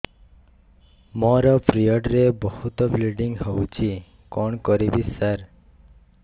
ମୋର ପିରିଅଡ଼ ରେ ବହୁତ ବ୍ଲିଡ଼ିଙ୍ଗ ହଉଚି କଣ କରିବୁ ସାର